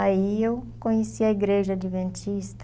Aí eu conheci a igreja Adventista.